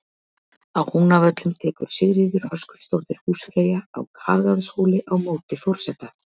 Á Húnavöllum tekur Sigríður Höskuldsdóttir húsfreyja á Kagaðarhóli á móti forseta.